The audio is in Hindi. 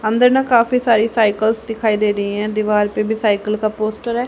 अंदर ना काफी सारी साइकल्स दिखाई दे रही है दीवाल पे भी साइकल का पोस्टर है।